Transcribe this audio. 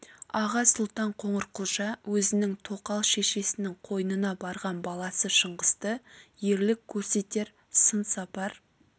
аға сұлтан қоңырқұлжа өзінің тоқал шешесінің қойнына барған баласы шыңғысты ерлік көрсетер сын сапар